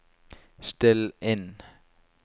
still inn